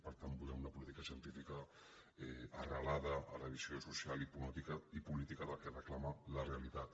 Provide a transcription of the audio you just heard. per tant volem una política científica arrelada a la visió social i política del que reclama la realitat